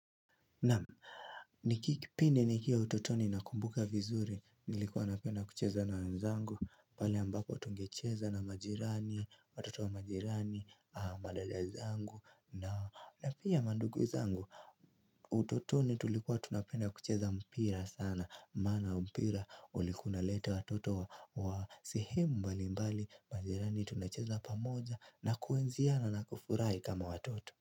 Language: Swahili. Naam ni kipindi nikiwa utotoni nakumbuka vizuri nilikuwa napenda kucheza na wenzangu pale ambapo tungecheza na majirani, watoto wa majirani, madadazangu na pia mandugu zangu utotoni tulikuwa tunapenda kucheza mpira sana Maana mpira ulikuwa unaleta watoto wa sehemu mbalimbali majirani tunacheza pamoja na kuenziana na kufurahi kama watoto.